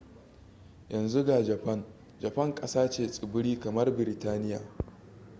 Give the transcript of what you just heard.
yanzu ga japan japan ƙasa ce tsibiri kamar biritaniya